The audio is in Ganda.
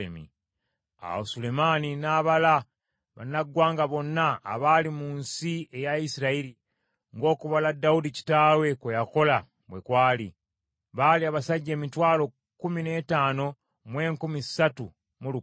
Awo Sulemaani n’abala bannaggwanga bonna abaali mu nsi eya Isirayiri, ng’okubala Dawudi kitaawe kwe yakola bwe kwali; baali abasajja emitwalo kkumi n’ettaano mu enkumi ssatu mu lukaaga.